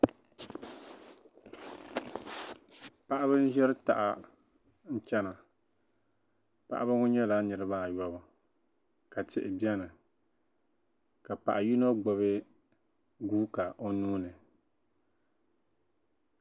paɣiba n-ʒiri taha n-chana paɣiba ŋɔ nyɛla niriba ayɔbu ka tihi beni ka paɣa yino gbubi guuka o nuu ni